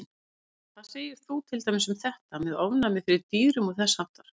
Linda: Hvað segir þú til dæmis með þetta, með ofnæmi fyrir dýrum og þess háttar?